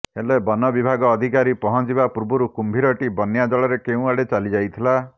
ହେଲେ ବନ ବିଭାଗ ଅଧିକାରୀ ପହଞ୍ଚିବା ପୂର୍ବରୁ କୁମ୍ଭୀରଟି ବନ୍ୟା ଜଳରେ କେଉଁଆଡେ ଚାଲି ଯାଇଥିଲା